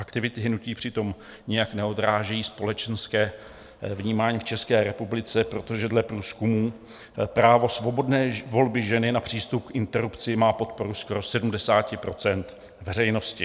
Aktivity hnutí přitom nijak neodrážejí společenské vnímání v České republice, protože dle průzkumů právo svobodné volby ženy na přístup k interrupci má podporu skoro 70 % veřejnosti.